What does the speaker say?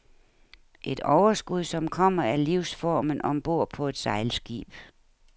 Et overskud som kommer af livsformen om bord på et sejlskib.